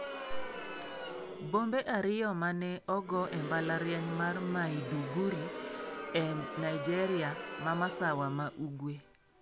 Bombe ariyo ma ne ogo e mbalariany mar Maiduguri e Nigeria ma Masawa ma Ugwe.